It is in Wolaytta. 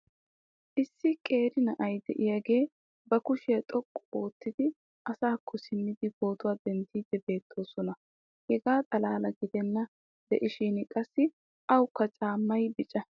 issi qeeri na"ay diyaagee ba kushiya xoqqu oottidi asaakko simmidi pootuwa denddiidi beetoosona. hegaa xalaala gidennan diishshin qassi awu caamaykka bicca.